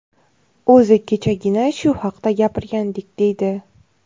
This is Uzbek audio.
O‘zi kechagina shu haqda gapirgandik, deydi.